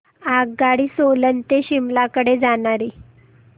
आगगाडी सोलन ते शिमला कडे जाणारी